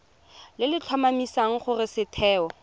le le tlhomamisang gore setheo